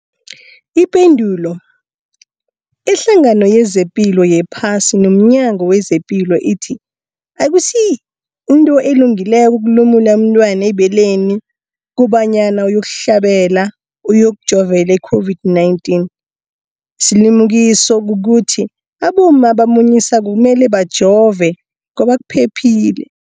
Ipendulo, iHlangano yezePilo yePhasi nomNyango wezePilo ithi akusinto elungileko ukulumula umntwana ebeleni kobanyana uyokuhlabela, uyokujovela i-COVID-19. Isilimukiso kukuthi abomma abamunyisako kumele bajove ngoba kuphephile.